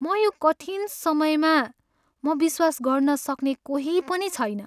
मैले यो कठिन समयमा म विश्वास गर्न सक्ने कोही पनि छैन।